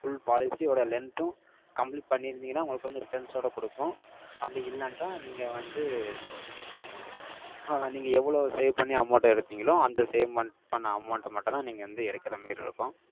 Full policy யோட length உம், complete பண்ணிருந்தீங்கன்னா, உங்களுக்கு வந்து, returns ஓட கொடுக்கும். அப்படி இல்லன்டா, நீங்க வந்து, அஹ, நீங்க எவ்வளவு save பண்ணி, amount அ எடுத்தீங்களோ, அந்த save mon~ பண்ண amount அ மட்டும்தான், நீங்க வந்து எடுக்கற மாதிரி இருக்கும்.